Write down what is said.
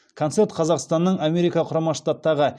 концерт қазақстанның америка құрама штаттағы